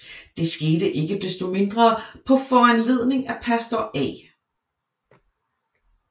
Det skete ikke desto mindre på foranledning af pastor A